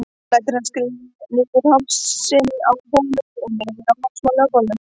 Lætur hann skríða niður hálsinn á honum og niður á hálsmálið á bolnum.